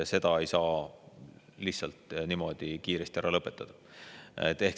Seda ei saa lihtsalt niimoodi kiiresti ära lõpetada.